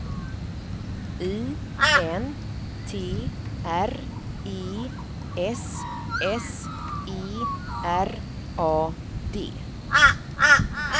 I N T R E S S E R A D